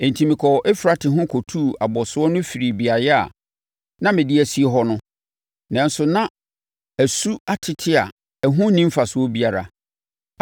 Enti, mekɔɔ Eufrate ho kɔtuu abɔsoɔ no firii beaeɛ a, na mede asie hɔ no, nanso, na asu atete a ɛho nni mfasoɔ biara.